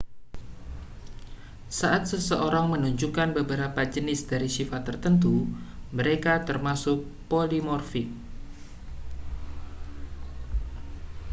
saat seseorang menunjukkan beberapa jenis dari sifat tertentu mereka termasuk polimorfik